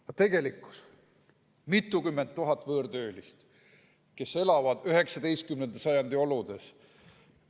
Aga tegelikult on mitukümmend tuhat võõrtöölist, kes elavad 19. sajandi oludes.